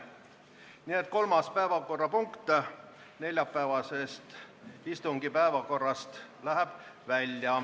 Nii et kolmas päevakorrapunkt neljapäevase istungi päevakorrast läheb välja.